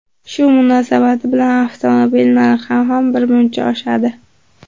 Shu munosabati bilan avtomobil narxi ham birmuncha oshadi.